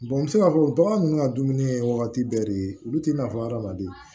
n bɛ se k'a fɔ bagan ninnu ka dumuni ye wagati bɛɛ de olu tɛ nafa adamaden